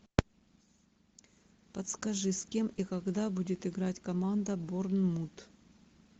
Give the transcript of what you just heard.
подскажи с кем и когда будет играть команда борнмут